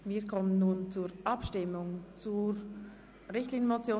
Wir kommen zur Abstimmung über die Richtlinienmotion